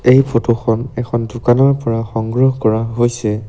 এই ফটো খনত এখন দোকানৰ পৰা সংগ্ৰহ কৰা হৈছে।